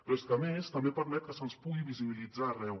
però és que a més també permet que se’ns pugui visibilitzar arreu